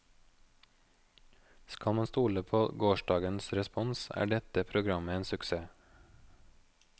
Skal man stole på gårsdagens respons er dette programmet en suksess.